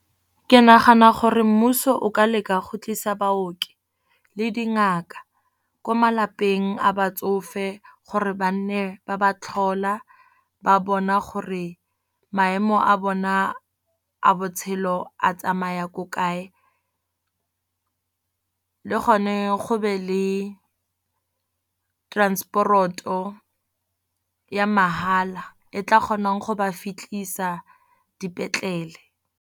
Ke nagana gore mmuso o ka leka go tlisa baoki le dingaka ko malapeng a batsofe gore ba nne ba ba tlhola. Ba bona gore maemo a bona a botshelo lo a tsamaya ko kae, le gone go be le transport-o ya mahala e tla kgonang go ba fitlhisa dipetlele.